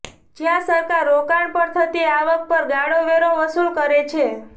જ્યાં સરકાર રોકાણ પર થતી આવક પર ગાળો વેરો વસૂલ કરે છે